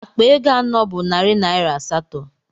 Akpa ego anọ bụ narị naira asatọ.